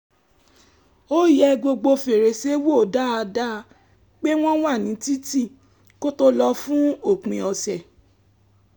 ó yẹ gbogbo fèrèsé wò dáadáa pé wọ́n wà ní títì kó tó lọ fún òpin ọ̀sẹ̀